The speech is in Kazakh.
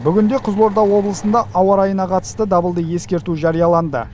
бүгінде қызылорда облысында ауа райына қатысты дабылды ескерту жарияланды